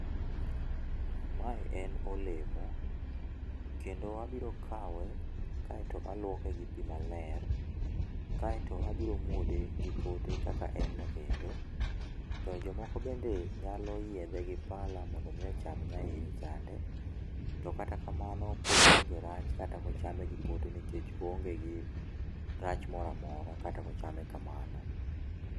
Ma en olemo, kendo wabiro kawe aito aluoke gi pi ma ler aito abiro muode gi pote kaka en no endo. To jo moko be nyalo yiedhe gi pala mondo mi ocham nya iye chande. To kata kamano pod onge rach kata ko ochame gi pote nikech oonge gi rach moro amora kata ko ochame kamano .